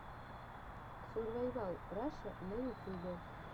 сурвайвал раша на ютюбе